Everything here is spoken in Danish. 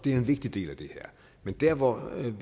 en vigtig del af det her men der hvor